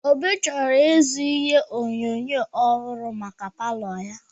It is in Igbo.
Obi chọrọ ịzụrụ ihe onyonyo ọhụrụ maka palo ya.